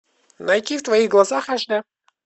найти в твоих глазах аш дэ